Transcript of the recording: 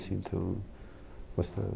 Assim que eu gostava